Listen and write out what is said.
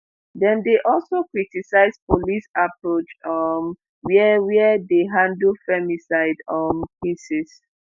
dem dey also criticise police approach um were were dey handle femicide um cases.